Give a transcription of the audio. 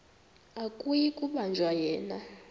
akuyi kubanjwa yena